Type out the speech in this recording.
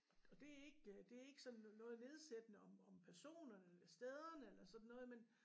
Og det ikke det ikke sådan noget nedsættende om om personerne stederne eller sådan noget men